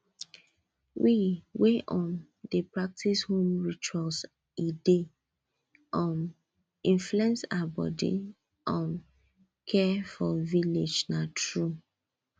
we wey um dey practice home rituals e dey um influence our body um care for village na true